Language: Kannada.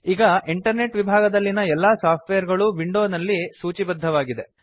ಈಗ ಇಂಟರ್ನೆಟ್ ವಿಭಾಗದಲ್ಲಿನ ಎಲ್ಲಾ ಸಾಫ್ಟ್ವೇರ್ ಗಳೂ ವಿಂಡೋ ನಲ್ಲಿ ಸೂಚಿಬದ್ದವಾಗಿದೆ